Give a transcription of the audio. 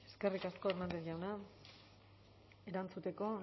eskerrik asko hernández jauna erantzuteko